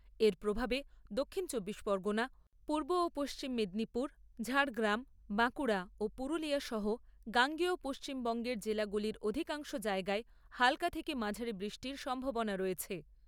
এর প্রভাবে দক্ষিণ চব্বিশ পরগণা, পূর্ব ও পশ্চিম মেদিনীপুর, ঝাড়গ্রাম, বাঁকুড়া ও পুরুলিয়া সহ গাঙ্গেয় পশ্চিমবঙ্গের জেলাগুলির অধিকাংশ জায়গায় হালকা থেকে মাঝারি বৃষ্টির সম্ভাবনা রয়েছে।